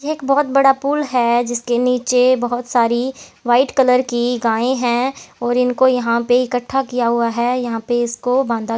एक बहुत बड़ा पुल है जिसके नीचे बहोत सारी व्हाइट कलर की गायें हैं और इनको यहां पे इकट्ठा किया हुआ है यहां पे इसको बांधा--